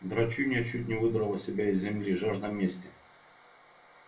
драчунья чуть не выдрала себя из земли жажда мести